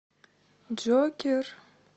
джокер